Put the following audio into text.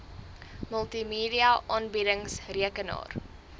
multimedia aanbiedings rekenaar